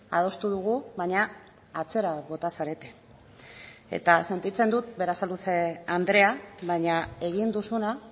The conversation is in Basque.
adostu dugu baina atzera bota zarete eta sentitzen dut berasaluze andrea baina egin duzuna